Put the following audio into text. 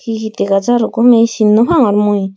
hi hi dega jaro gomey sin nopangor mui.